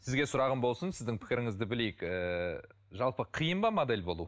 сізге сұрағым болсын сіздің пікіріңізді білейік ііі жалпы қиын ба модель болу